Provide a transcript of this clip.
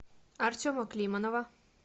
артема климанова